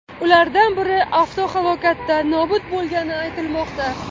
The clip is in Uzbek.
Ulardan biri avtohalokatda nobud bo‘lgani aytilmoqda.